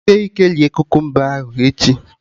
Jisie ike rie kukumba ahụ echi!